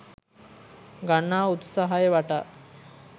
ගන්නා උත්සාහය වටා